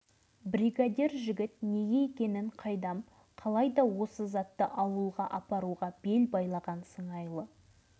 ал тиісті жерлерден ондай қаржыны ала алмайсың дей отырып ол қазіргі өзі басқаратын үш фирма жайында айтып берді